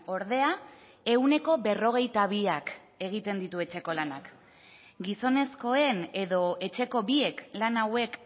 ordea ehuneko berrogeita biak egiten ditu etxeko lanak gizonezkoen edo etxeko biek lan hauek